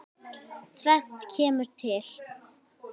Tvennt kemur til.